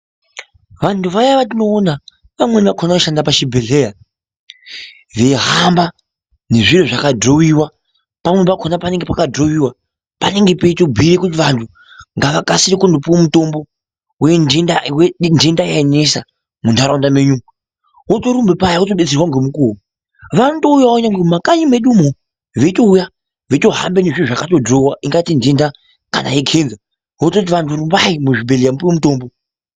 Vantu vaya vatinoona vamweni vakona vanoshanda pachibhehlera, veihamba nezvinhu zvakadhirowiwa, pamweni pakona panenge pakadhirowiwa panenge peitobhuya kuti vantu ngavakasire kunopiwe mitombo wendenda yenisa muntaraunda menyu umu, otorumba paya otodetserwa ngemukuwo, vanotouyawo kunyange mumakanyi medu umu veitouya veizohambe nezviro zvakadhirowiwa ungati ndenda kana yekenza, ototi vantu rumbai muzvibhedhlera mupuwe mitombo.